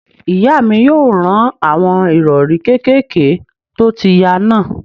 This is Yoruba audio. Ìyá mi yóò rán àwọn ìrọ̀rí kékèké tó ti ya náà